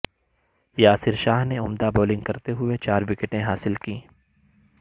یاسر شاہ نے عمدہ بولنگ کرتے ہوئے چار وکٹیں حاصل کیں